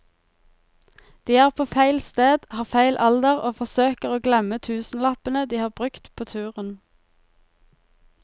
De er på feil sted, har feil alder og forsøker å glemme tusenlappene de har brukt på turen.